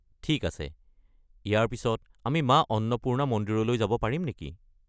ঠিক আছে, ইয়াৰ পিছত আমি মা অন্নপূৰ্ণা মন্দিৰলৈ যাব পাৰিম নেকি?